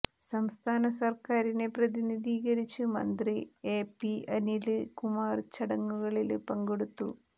സംസ്ഥാന സര്ക്കാരിനെ പ്രതിനിധീകരിച്ച് മന്ത്രി എ പി അനില് കുമാര് ചടങ്ങുകളില് പങ്കെടുത്തു